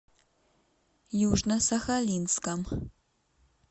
южно сахалинском